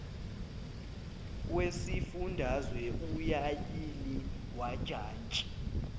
wesifundazwe ulayini wajantshi